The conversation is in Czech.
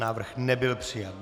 Návrh nebyl přijat.